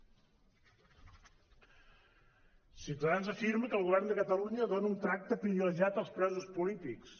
ciutadans afirma que el govern de catalunya dona un tracte privilegiat als presos polítics